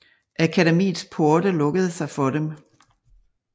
Akademiets porte lukkede sig for dem